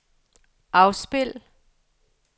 afspil